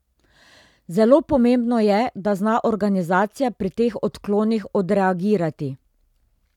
Zelo pomembno je, da zna organizacija pri teh odklonih odreagirati.